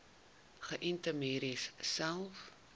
geënte merries selfs